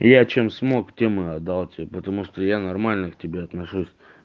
я чем смог тем и отдал тебе потому что я нормально к тебе отношусь